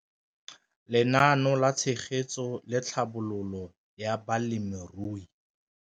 Lenaane la Tshegetso le Tlhabololo ya Balemirui